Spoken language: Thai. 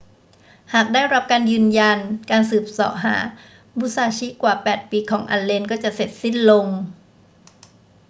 หากได้รับการยืนยัน การสืบเสาะหามุซาชิกว่า 8 ปีของอัลเลนก็จะเสร็จสิ้นลง